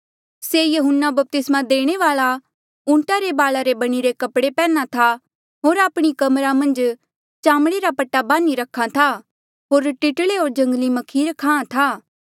ये यहून्ना बपतिस्मा देणे वाल्आ ऊंटा रे बाला रे बणिरे कपड़े पैहन्ना था होर आपणी कमरा मन्झ चामड़े रा पट्टा बान्ही रख्हा था होर टिटले होर जंगली म्खीर खाहां था